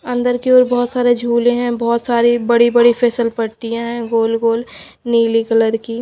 अंदर की ओर बहोत सारे झूले हैं बहोत सारे बड़ी बड़ी फसल पट्टियां है गोल गोल नीली कलर की--